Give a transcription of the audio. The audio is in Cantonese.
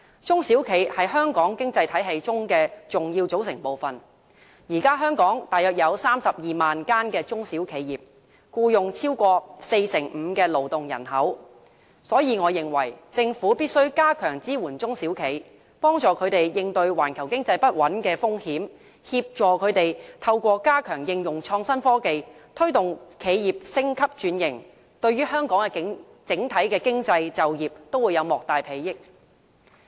中小企是香港經濟體系中的重要組成部分，現時香港大約有32萬間中小企業，僱用超過四成五的勞動人口，所以我認為政府必須加強支援中小企，幫助他們應對環球經濟不穩的風險，協助他們透過加強應用創新科技，推動企業升級轉型，對於香港的整體經濟、就業都會有莫大裨益。